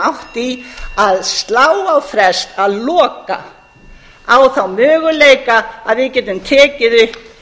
átt í að slá á frest að loka á þá möguleika að við getum tekið upp